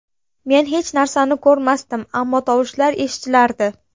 Men hech narsani ko‘rmasdim, ammo tovushlar eshitilardi.